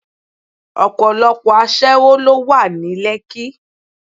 Ọ̀pọ̀lọpọ̀ aṣẹ́wó ló wà ní Lekki.